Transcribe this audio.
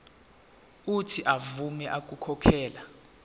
uuthi avume ukukhokhela